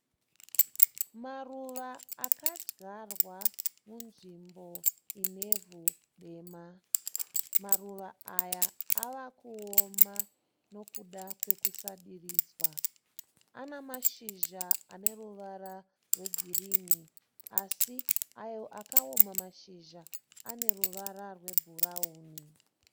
Maruva akadyarwa munzvimbo inevhu dema. Maruva aya ava kuoma nekuda kwekusadiridzwa. Ana mashizha ane ruvara rwegirini asi ayo akaoma mashizha ane ruvara rwebhurauni